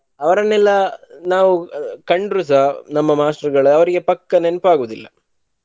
ಅವರನೆಲ್ಲಾ ನಾವ ಕಂಡ್ರು ಸಹ ನಮ್ಮ ಮಾಸ್ಟ್ರುಗಳು ಅವರಿಗೆ ಪಕ್ಕಾ ನೆನ್ಪ್ ಆಗುವುದಿಲ್ಲ.